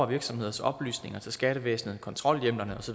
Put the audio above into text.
virksomheders oplysninger til skattevæsenet kontrolhjemlerne